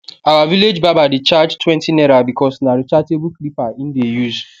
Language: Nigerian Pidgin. our village barber de charge twenty naira bcos na rechargeable clipper him de use